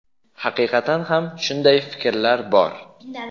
Haqiqatan ham shunday fikrlar bor.